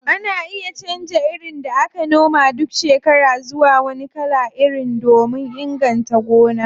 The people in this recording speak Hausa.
Ana iya canza irin da aka noma duk shekara zuwa wani kalan iri domin inganta gona.